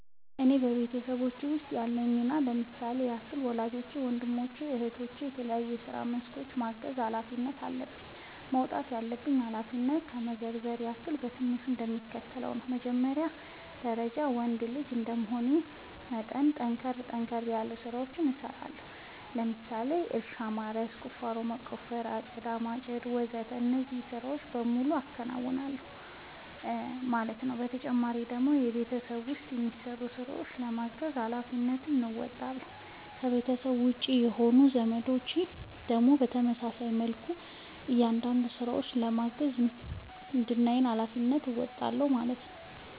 እኔ በቤተሰቦቼ ውስጥ ያለኝ ሚና ለምሳሌ ያክል ወላጆቼን ወንድሞቼን እህቶቼን በተለያዩ የስራ መስኮች የማገዝ ኃላፊነት አለብኝ። መወጣት ያለብኝን ኃላፊነት ለመዘርዘር ያክል በትንሹ እንደሚከተለው ነው በመጀመሪያ ደረጃ ወንድ ልጅ እንደመሆኔ መጠን ጠንከር ጠንከር ያሉ ስራዎችን እሰራለሁ ለምሳሌ እርሻ ማረስ፣ ቁፋሮ መቆፈር፣ አጨዳ ማጨድ ወዘተ እነዚህን ስራዎች በሙሉ አከናውናል ማለት ነው ተጨማሪ ደግሞ በቤት ውስጥ የሚሰሩ ስራዎችን በማገዝ ሃላፊነትን እንወጣለሁ። ከቤተሰቤ ውጪ የሆኑት ዘመዶቼን ደግሞ በተመሳሳይ መልኩ አንዳንድ ስራዎችን በማገዝ የዝምድናዬን ሀላፊነት እወጣለሁ ማለት ነው